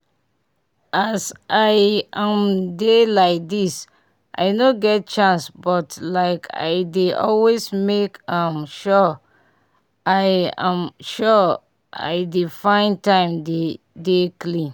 as i um dey like this i no get chance but like i dey always make um sure i um sure i dey find time dey dey clean